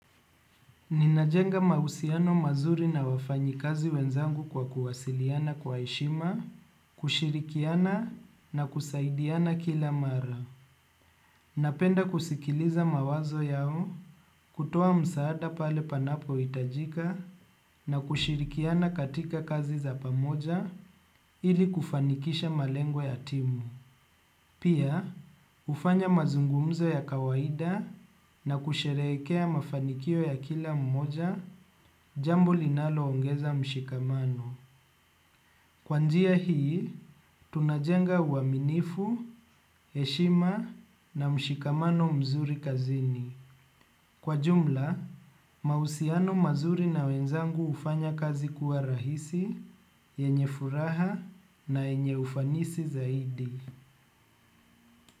Ninajenga mahusiano mazuri na wafanyikazi wenzangu kwa kuwasiliana kwa heshima, kushirikiana na kusaidiana kila mara. Napenda kusikiliza mawazo yao, kutoa msaada pale panapohitajika na kushirikiana katika kazi za pamoja ili kufanikisha malengo ya timu. Pia hufanya mazungumzo ya kawaida na kusherehekea mafanikio ya kila mmoja jambo linaloongeza mshikamano. Kwa njia hii, tunajenga uaminifu, heshima na mshikamano mzuri kazini. Kwa jumla, mahusiano mazuri na wenzangu hufanya kazi kuwa rahisi, yenye furaha na yenye ufanisi zaidi.